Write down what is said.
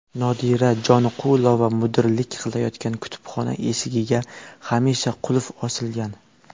Nodira Joniqulova mudirlik qilayotgan kutubxona eshigiga hamisha qulf osilgan.